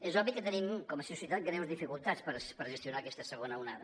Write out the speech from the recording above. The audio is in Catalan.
és obvi que tenim com a societat greus dificultats per gestionar aquesta segona onada